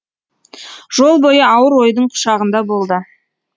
жол бойы ауыр ойдың құшағында болды